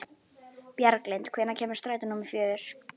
Bjarglind, hvenær kemur strætó númer fjögur?